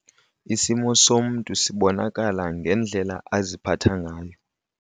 Isimo somntu sibonakala ngendlela aziphatha ngayo.